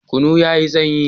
Kunu yayi sanyi